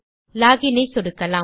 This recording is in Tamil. லாக் இன் ஐ சொடுக்கலாம்